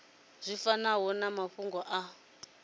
zwi fanaho na mafhungo a